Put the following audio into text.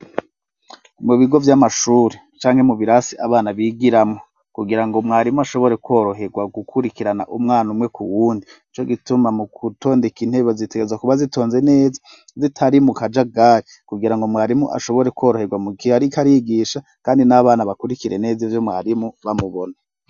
Mu bigo vy'amashuri canke mu birasi abana bigiramwo, kugira ngo mwarimu ashobore kworoherwa gukurikirana umwana umwe ku wundi, nico gituma mu gutondeka intebe zitegerezwa kuba zitonze neza zitari mu kajagari, kugira ngo mwarimu ashobore kworoherwa mu gihe ariko arigisha, kandi n'abana bakurikire neza ivyo mwarimu bamubona.